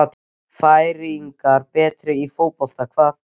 Færeyingar betri í fótbolta hvað?